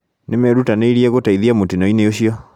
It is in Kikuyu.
Nĩmerutanĩirie gũteithia mũtino-inĩ ũcio